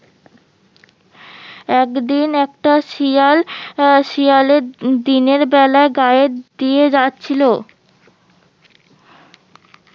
একদিন একটা শিয়াল আহ শিয়ালে দিনের বেলা গায়ের দিয়ে যাচ্ছিলো